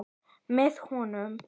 Með honum.